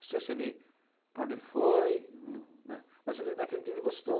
Não sei se ele, para onde ele foi, no, né, mas naquele dia ele gostou.